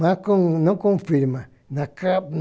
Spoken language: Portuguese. Mas com não com firma, na